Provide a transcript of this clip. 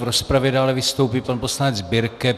V rozpravě dále vystoupí pan poslanec Birke.